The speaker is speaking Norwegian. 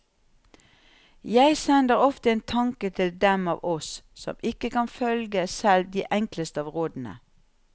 Jeg sender ofte en tanke til dem av oss som ikke kan følge selv de enkleste av rådene.